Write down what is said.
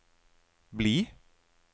bli